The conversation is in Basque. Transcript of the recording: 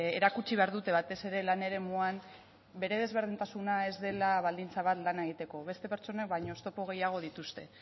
erakutsi behar dute batez ere lan eremuan bere desberdintasuna ez dela baldintza bat lana egiteko beste pertsonek baino oztopo gehiago dituzte